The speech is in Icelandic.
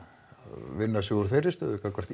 vinna sig úr þeirri stöðu gagnvart